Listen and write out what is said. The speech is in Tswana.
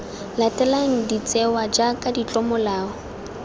latelang de tsewa jaaka ditlomolao